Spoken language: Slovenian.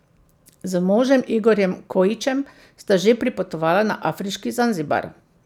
Z možem Igorjem Kojićem sta že pripotovala na afriški Zanzibar.